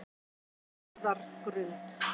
Njarðargrund